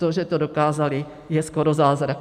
To, že to dokázali, je skoro zázrak.